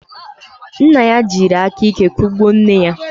Nna ya jiri aka ike kụgbuo nne ya.